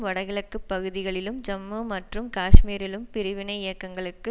வடகிழக்கு பகுதிகளிலும் ஜம்மு மற்றும் காஷ்மீரிலும் பிரிவினை இயக்கங்களுக்கு